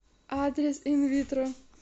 адрес инвитро